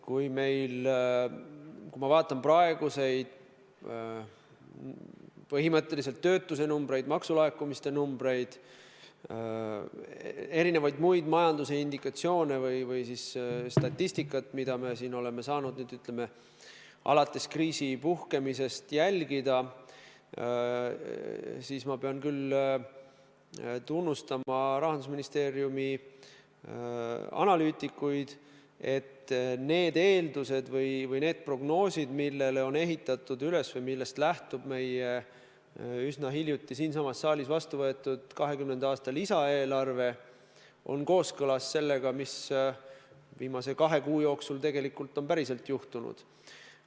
Kui ma vaatan praegusi töötuse numbreid, maksulaekumiste numbreid, erinevaid muid majanduse indikatsioone või siis statistikat, mida me oleme saanud nüüd, ütleme, alates kriisi puhkemisest jälgida, siis ma pean küll tunnustama Rahandusministeeriumi analüütikuid: need prognoosid, millele on üles ehitatud või millest lähtub meie üsna hiljuti siinsamas saalis vastuvõetud 2020. aasta lisaeelarve, on kooskõlas sellega, mis viimase kahe kuu jooksul tegelikult on juhtunud.